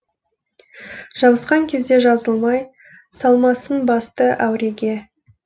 жабысқан кезде жазылмай салмасын басты әуреге